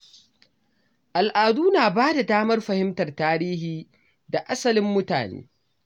Al’adu na ba da damar fahimtar tarihi da asalin mutane.